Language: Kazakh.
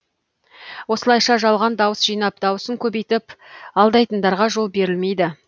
осылайша жалған дауыс жинап дауысын көбейтіп алдайтындарға жол берілмейді